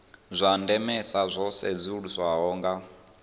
zwa ndemesa zwo sedzeswaho nga